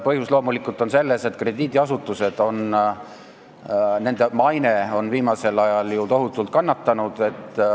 Põhjus on loomulikult selles, et krediidiasutuste maine on viimasel ajal ju tohutult kannatanud.